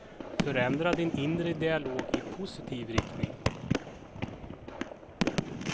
Förändra din inre dialog i positiv riktning.